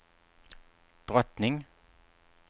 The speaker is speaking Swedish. drottning